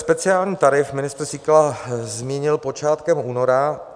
Speciální tarif ministr Síkela zmínil počátkem února.